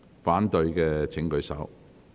反對的請舉手。